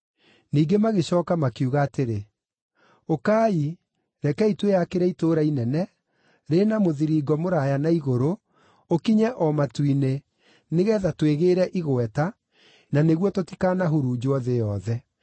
Ningĩ magĩcooka makiuga atĩrĩ, “Ũkai, rekei twĩyakĩre itũũra inene, rĩna mũthiringo mũraaya na igũrũ, ũkinye o matu-inĩ, nĩgeetha twĩgĩĩre igweta, na nĩguo tũtikaanahurunjwo thĩ yothe.”